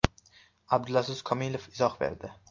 Abdulaziz Komilov izoh berdi.